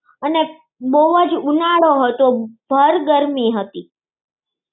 અને બહુ જ ઉનાળો હતો. ભર ગરમી હતી.